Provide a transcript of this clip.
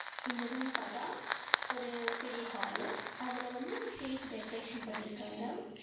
இந்த ரூம் பாத்த ஒரு பெரிய ஹால்லு அதுல வந்து ஸ்டேஜ் டெக்ரேஷன் பண்ணிருக்காங்க.